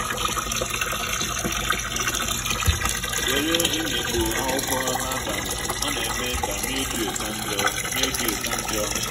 zere imikpu akwụkwọ n’abalị ọ na-eme ka mildew ka njọ mildew ka njọ